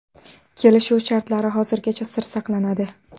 Kelishuv shartlari hozirgacha sir saqlanadi.